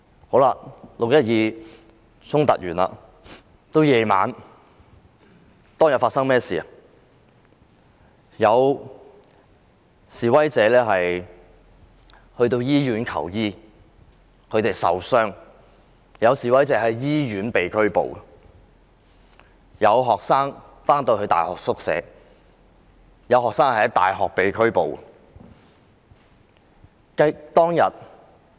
經過6月12日的衝突後，到晚上有示威者因為受傷而前往醫院求醫，但竟然在醫院被拘捕；又有學生返回大學後，在宿舍內被拘捕。